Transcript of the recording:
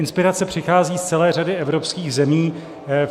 Inspirace přichází z celé řady evropských zemí.